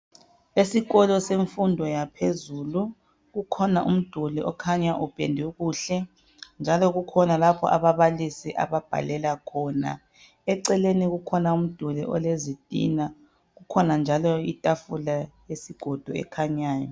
esikolo semfundo yaphezulu kukhona umduli okhanya upendwe kuhle njalo kukhona lapho ababalisi ababhalela khona eceleni kukhona umduli olezitina kukhona njalo itafula yesigodo ekhanyayo